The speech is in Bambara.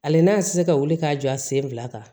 Ale n'a ti se ka wuli k'a jɔ a sen fila kan